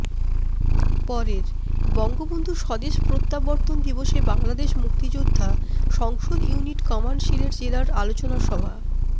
পরেরঃ বঙ্গবন্ধু স্বদেশ প্রত্যাবর্তন দিবসে বাংলাদেশ মুক্তিযোদ্ধা সংসদ ইউনিট কমান্ড সিলেট জেলার আলোচনা সভা